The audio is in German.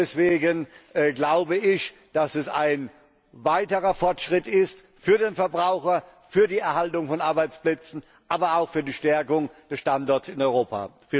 können. Deswegen glaube ich, dass es ein weiterer Fortschritt ist für den Verbraucher, für die Erhaltung von Arbeitsplätzen, aber auch für die Stärkung des Standorts Europa.